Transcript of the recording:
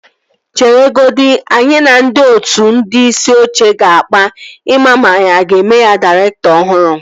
Chere godi. Anyị na ndị otu ndị isi oche ga-akpa ị maa ma anyị a ga-eme ya dairektọ ọhụrụ